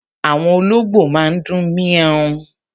Àwọn olóngbò máa ń dún méééw